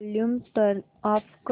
volume turn off कर